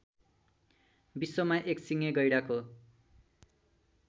विश्वमा एकसिङे गैंडाको